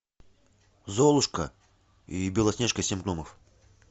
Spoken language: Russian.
золушка и белоснежка и семь гномов